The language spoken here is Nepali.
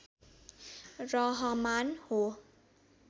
रहमान हो